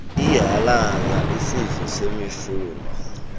ihalaal isidlo semifuno